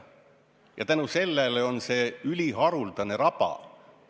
Ja tänu sellele on see üliharuldane raba.